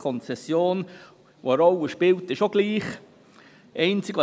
Die Konzession, welche eine Rolle spielt, ist auch dieselbe.